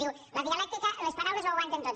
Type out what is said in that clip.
diu la dialèctica les paraules ho aguanten tot